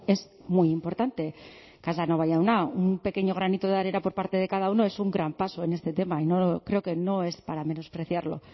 es muy importante casanova jauna un pequeño granito de arena por parte de cada uno es un gran paso en este tema creo que no es para menospreciarlo